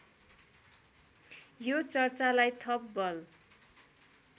यो चर्चालाई थप बल